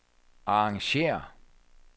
arrangér